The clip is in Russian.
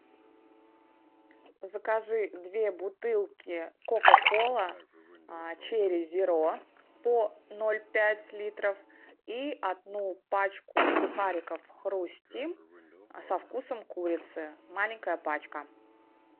закажи две бутылки кока кола черри зеро по ноль пять литров и одну пачку сухариков хрустим со вкусом курицы маленькая пачка